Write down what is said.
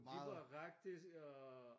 Vi var faktisk øh